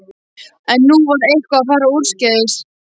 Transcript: En nú var eitthvað að fara úrskeiðis.